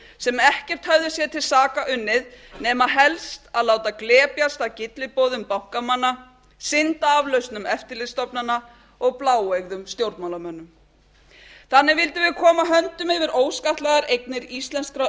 sem ekkert höfðu sér til saka unnið nema helst að láta glepjast af gylliboðum bankamanna syndaaflausnum eftirlitsstofnana og bláeygðum stjórnmálamönnum þannig vildum við koma höndum yfir óskattlagðar eignir íslenskra